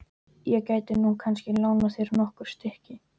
Ég gæti nú kannski lánað þér nokkur stykki.